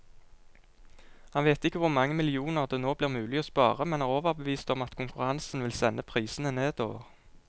Han vet ikke hvor mange millioner det nå blir mulig å spare, men er overbevist om at konkurransen vil sende prisene nedover.